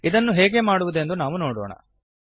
ಇದನ್ನು ಹೇಗೆ ಮಾಡುವುದೆಂದು ನಾವು ನೋಡೋಣ